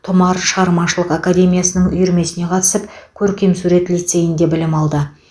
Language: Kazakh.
тұмар шығармашылық академиясының үйірмесіне қатысып көркемсурет лицейінде білім алды